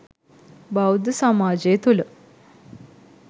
බෞද්ධ සමාජය තුළ